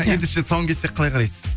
ендеше тұсауын кессек қалай қарайсыз